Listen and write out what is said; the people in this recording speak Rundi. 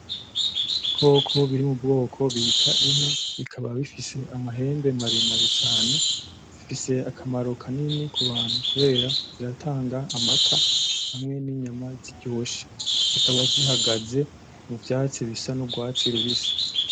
Ibikoko biri mubwoko bita inka, bikaba bifise amahembe maremare cane, zifise akamaro kanini kubantu kubera ziratanga amata hamwe n'inyama ziryoshe, zikaba zihagaze muvyatsi bisa n'urwatsi rubisi.